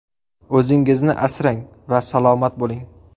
O‘zingizni asrang va salomat bo‘ling!